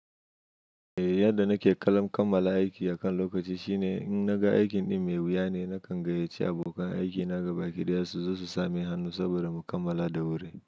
Eh, yadda nake kallon kammala aiki akan lokaci shine in naga aikin ɗin mai wuya ne, nakan gayyaci abokan aikina gaba kiɗaya su zo su same hannu saboda mu kammala da wuri.